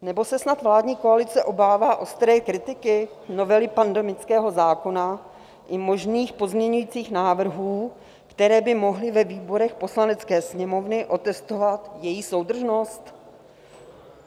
Nebo se snad vládní koalice obává ostré kritiky novely pandemického zákona i možných pozměňujících návrhů, které by mohly ve výborech Poslanecké sněmovny otestovat její soudržnost?